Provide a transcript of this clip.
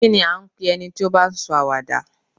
Kí ní à ń pe ẹni tí ó bá ń sọ àwàdà?